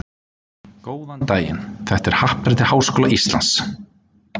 Góðan daginn, þetta er á Happadrætti Háskóla Íslands.